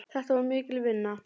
Þetta var mikil vinna.